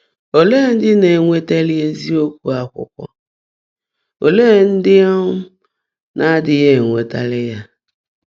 Óleé ndị́ ná-énwétàlí ézíokwú ákwụ́kwọ́, óleékwá ndị́ um ná-ádị́ghị́ énwétàlí yá?